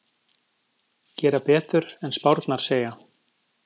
Gera betur en spárnar segja